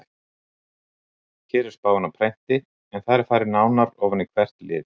Hér er spáin á prenti en þar er farið nánar ofan í hvert lið.